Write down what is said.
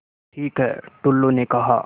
ठीक है टुल्लु ने कहा